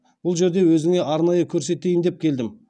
бұл жерді өзіңе арнайы көрсетейін деп келдім